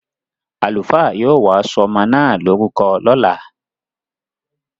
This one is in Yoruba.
Àlùfáà yóò wá sọmọ na lorúkọ lọ́la.